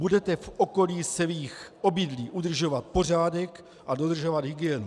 Budete v okolí svých obydlí udržovat pořádek a dodržovat hygienu.